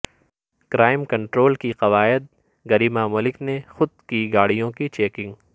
crime control کی قواعد گریما ملک نے خود کی گاڑیوں کی چیکنگ